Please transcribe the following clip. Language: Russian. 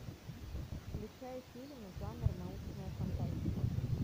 включай фильм жанр научная фантастика